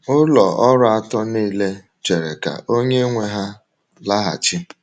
Ụlọ ọrụ atọ niile chere ka onye nwe ha laghachị.